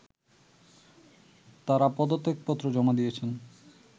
তারা পদত্যাগপত্র জমা দিয়েছেন